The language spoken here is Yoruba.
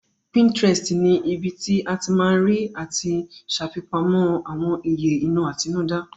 Pinterest ni ibi tí o ti ma rí àti ṣàfipamọ́ àwọn ìyè inú àtinúdá